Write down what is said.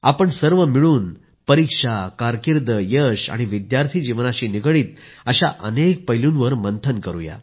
आपण सर्व मिळून परीक्षा कारकीर्द यश आणि विद्यार्थी जीवनाशी निगडीत अनेक पैलूंवर मंथन करू